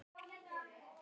Í einum þætti!